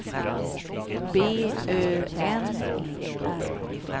B Ö N E R